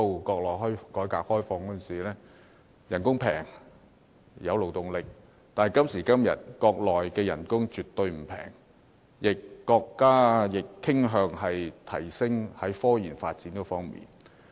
國內當時實施改革開放，工資廉宜，可提供勞動力；但今時今日，國內工資絕不廉宜，國家亦傾向提升科研發展。